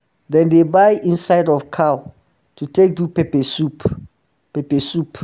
dem dey buy inside of cow um to take do peppersoup peppersoup